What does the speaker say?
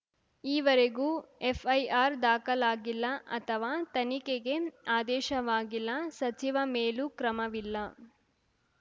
ಈವರೆಗೂ ಎಫ್‌ಐಆರ್‌ ದಾಖಲಾಗಿಲ್ಲ ಅಥವಾ ತನಿಖೆಗೆ ಆದೇಶವಾಗಿಲ್ಲ ಸಚಿವ ಮೇಲೂ ಕ್ರಮವಿಲ್ಲ